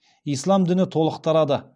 ислам діні толық тарады